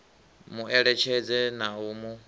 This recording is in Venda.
mu eletshedze na u mu